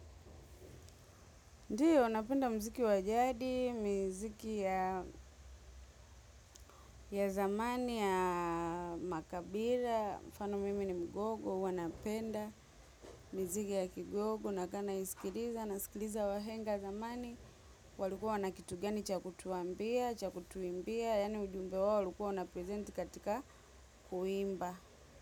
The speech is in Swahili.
Ndio, napenda mziki wa jadi, miziki ya ya zamani ya makabila, mfano mimi ni mgogo, huwa napenda, miziki ya kigogo, nakaa naisikiliza, nasikiliza wahenga zamani, walikuwa na kitu gani cha kutuambia, chakutuimbia, yani ujumbe wau walikuwa na prezenti katika kuimba.